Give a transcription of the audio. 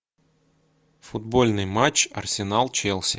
футбольный матч арсенал челси